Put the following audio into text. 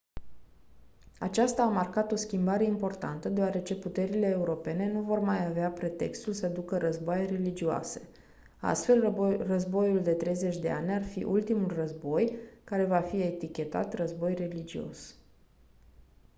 aceasta a marcat o schimbare importantă deoarece puterile europene nu vor mai avea pretextul să ducă războaie religioase astfel războiul de 30 de ani ar fi ultimul război care va fi etichetat război religios